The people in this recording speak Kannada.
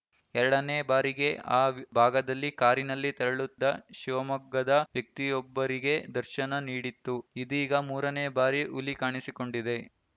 ಎರಡನೇ ಬಾರಿಗೆ ಆ ಭಾಗದಲ್ಲಿ ಕಾರಿನಲ್ಲಿ ತೆರಳುದ್ದ ಶಿವಮೊಗ್ಗದ ವ್ಯಕ್ತಿಯೊಬ್ಬರಿಗೆ ದರ್ಶನ ನೀಡಿತ್ತು ಇದೀಗ ಮೂರನೇ ಬಾರಿ ಹುಲಿ ಕಾಣಿಸಿಕೊಂಡಿದೆ